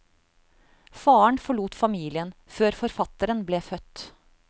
Faren forlot familien før forfatteren ble født.